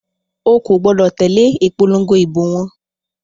O kò gbọdọ̀ tẹ̀lé ìpòlongo ìbò wọn.